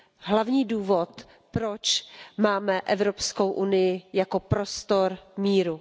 hlavní důvod, proč máme Evropskou unii jako prostor míru.